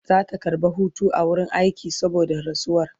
Zata karɓa Hutu a wurin aiki saboda rasuwar